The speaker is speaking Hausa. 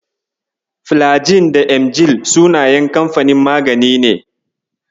Filagil da Emgil sunayen kamfanin magani ne.